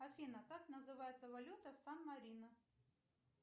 афина как называется валюта в сан марино